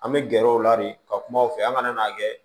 An bɛ gɛrɛ u la de ka kuma u fɛ an kana n'a kɛ